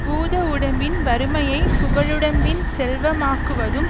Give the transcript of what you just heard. பூத உடம்பின் வறுமையைப் புகழுடம்பின் செல்வமாக்குவதும்